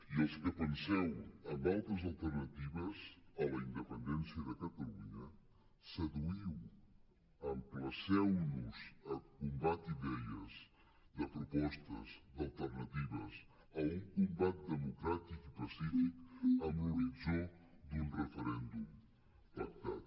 i els que penseu en altres alternatives a la independència de catalunya seduïu emplaceu nos a un combat d’idees de propostes d’alternatives a un combat democràtic i pacífic amb l’horitzó d’un referèndum pactat